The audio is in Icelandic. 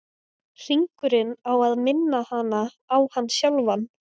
Hringurinn á að minna hana á hann sjálfan.